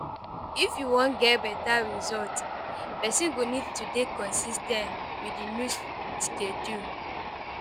If you wan get better result, person go need to dey consis ten t with di new schedule